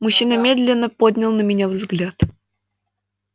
мужчина медленно поднял на меня взгляд